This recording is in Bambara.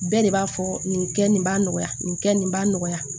Bɛɛ de b'a fɔ nin kɛ nin b'a nɔgɔya nin kɛ nin b'a nɔgɔya